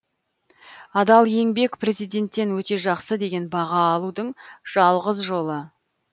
адал еңбек президенттен өте жақсы деген баға алудың жалғыз жолы